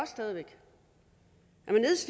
stadig væk